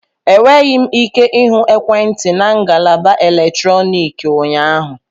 Enweghị m ike ịhụ ekwentị na ngalaba eletrọnịkị ụnyaahụ